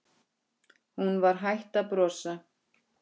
Alltaf að hjálpa fólki.